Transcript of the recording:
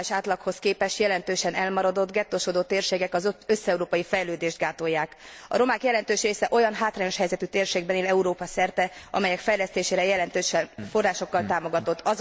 A regionális átlaghoz képest jelentősen elmaradott, gettósodott térségek az összeurópai fejlődést gátolják. A romák jelentős része olyan hátrányos helyzetű térségben él Európa szerte, amelyek fejlesztése jelentős forrásokkal támogatott.